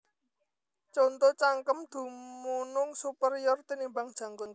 Conto Cangkem dumunung superior tinimbang janggut